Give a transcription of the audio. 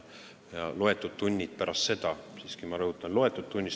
Ja mõned tunnid – ma juhin tähelepanu: mõned tunnid!